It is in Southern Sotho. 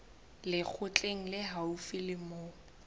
lekgotleng le haufi le moo